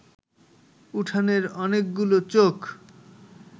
উঠোনের অনেকগুলো চোখ